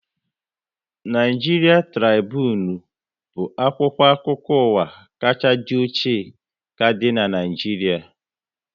Naịjiria Tribunu bụ akwụkwọ akụkọ ụwa kachaa dị ochie ka dịnu n'Naijiria